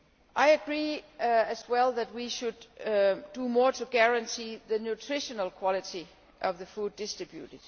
I agree that we should do more to guarantee the nutritional quality of the food distributed.